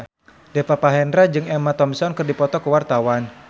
Deva Mahendra jeung Emma Thompson keur dipoto ku wartawan